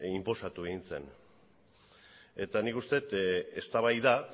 inposatu egin zen eta nik uste dut eztabaida